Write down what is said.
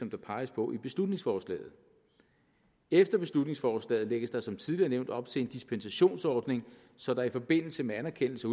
der peges på i beslutningsforslaget efter beslutningsforslaget lægges der som tidligere nævnt op til en dispensationsordning så der i forbindelse med anerkendelse